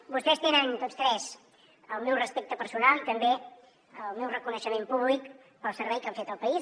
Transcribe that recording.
vostès tenen tots tres el meu respecte personal i també el meu reconeixement públic pel servei que han fet al país